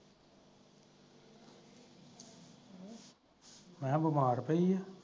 ਮੈਂ ਕਿਹਾ ਬਿਮਾਰ ਪਈ ਐ